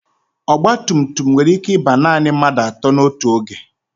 ọgba tum tum nwere ike ibu naanị mmadụ atọ n'otu oge